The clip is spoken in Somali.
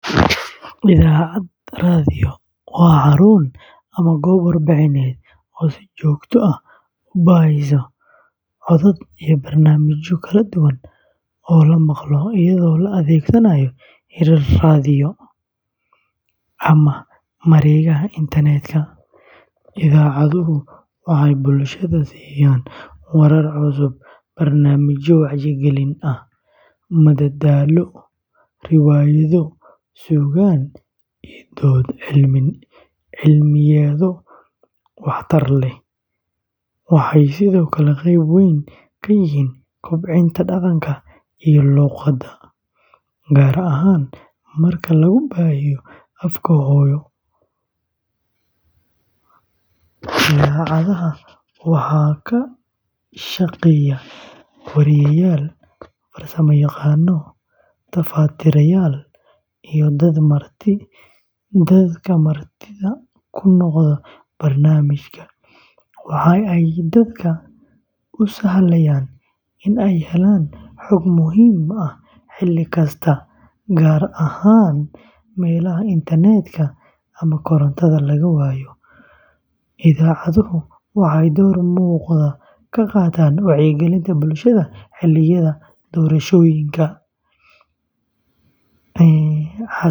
Idaacad raadiyo waa xarun ama goob warbaahineed oo si joogto ah u baahisa codad iyo barnaamijyo kala duwan oo la maqlo iyadoo la adeegsanayo hirar raadiyo ama mareegaha internetka. Idaacaduhu waxay bulshada siiyaan warar cusub, barnaamijyo wacyigelin ah, madadaalo, riwaayado, suugaan, iyo dood cilmiyeedyo wax-tar leh. Waxay sidoo kale qeyb weyn ka yihiin kobcinta dhaqanka iyo luqadda, gaar ahaan marka lagu baahiyo afka hooyo. Idaacadaha waxaa ka shaqeeya weriyeyaal, farsamayaqaano, tafatirayaal, iyo dadka martida ku noqda barnaamijyada. Waxa ay dadka u sahlayaan in ay helaan xog muhiim ah xilli kasta, gaar ahaan meelaha internetka ama korontada laga waayo. Idaacaduhu waxay door muuqda ka qaataan wacyigelinta bulshada xilliyada doorashooyinka.